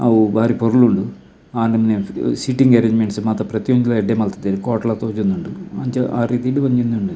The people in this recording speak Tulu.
ಅವು ಬಾರಿ ಪೊರ್ಲು ಉಂಡು ಆ ನಮುನೆ ಸೀಟಿಂಗ್ ಅರೇಂಜ್ಮೆಂಟ್ಸ್ ಮಾತ ಪ್ರತಿಯೊಂಜಿಲ ಎಡ್ಡೆ ಮಲ್ತುದೆರ್ ಕೋಟ್ ಲ ತೋಜೊಂದುಂಡು ಅಂಚ ಆ ರೀತಿಡ್ ಒಂಜಿ ಉಂದು ಉಂಡು.